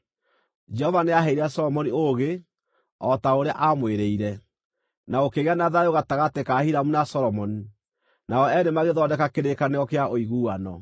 Jehova nĩaheire Solomoni ũũgĩ, o ta ũrĩa aamwĩrĩire. Na gũkĩgĩa na thayũ gatagatĩ ka Hiramu na Solomoni, nao eerĩ magĩthondeka kĩrĩkanĩro kĩa ũiguano.